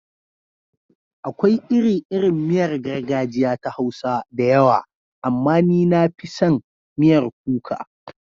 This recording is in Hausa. Akwai iri-irin miyar gargajiya ta Hausa da yawa, amma ni na fi son miyar kuka.